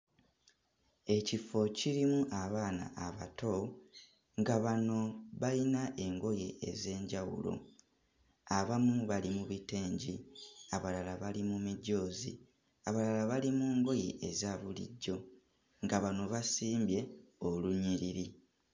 Ekifo kirimu abaana abato nga bano bayina engoye ez'enjawulo. Abamu bali mu bitengi, abalala bali mu mijoozi, abalala bali mu ngoye eza bulijjo nga bano basimbye olunyiriri.